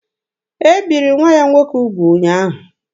E biri nwa ya nwoke ugwu ụnyaahụ.